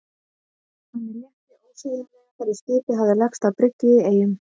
Manni létti ósegjanlega þegar skipið hafði lagst að bryggju í Eyjum.